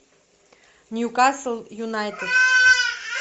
ньюкасл юнайтед